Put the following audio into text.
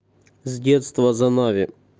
с детства за нави